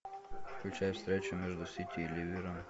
включай встречу между сити и ливером